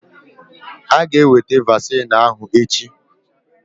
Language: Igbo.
Aga eweta vaccine ahụ echi